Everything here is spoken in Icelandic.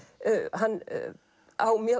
hann á mjög